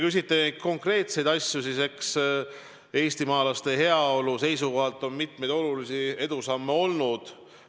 Kui te küsite konkreetseid asju, siis eks eestimaalaste heaolu seisukohalt on mitmeid olulisi edusamme olnud.